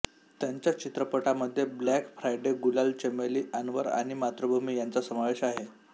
त्यांच्या चित्रपटामध्ये Black Friday Gulaal Chameli Anwar आणि मातृभूमी यांचा समावेश आहे